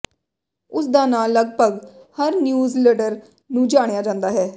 ਉਸ ਦਾ ਨਾਂ ਲਗਪਗ ਹਰ ਨਿਊਜ਼ਲਡਰ ਨੂੰ ਜਾਣਿਆ ਜਾਂਦਾ ਹੈ